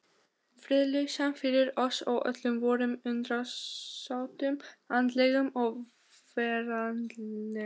Friðlausan fyrir oss og öllum vorum undirsátum andlegum og veraldlegum.